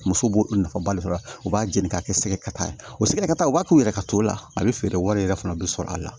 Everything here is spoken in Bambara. Muso b'o nafaba de sɔrɔ a la u b'a jeni k'a kɛ sɛgɛ kata ye o sɛgɛta u b'a k'u yɛrɛ ka t'o la a bɛ feere wari yɛrɛ fana bɛ sɔrɔ a la